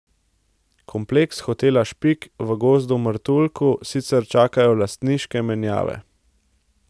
Kompleks Hotela Špik v Gozd Martuljku sicer čakajo lastniške menjave.